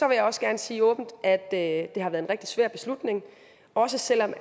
jeg også gerne sige åbent at det har været en rigtig svær beslutning også selv om